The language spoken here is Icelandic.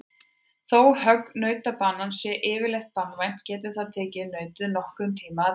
Þó högg nautabanans sé yfirleitt banvænt getur það tekið nautið nokkurn tíma að deyja.